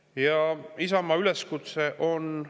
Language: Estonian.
Ja Isamaa üleskutse on järgmine.